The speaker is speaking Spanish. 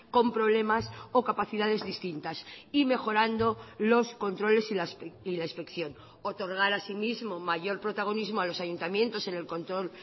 con problemas o capacidades distintas y mejorando los controles y la inspección otorgar asimismo mayor protagonismo a los ayuntamientos en el control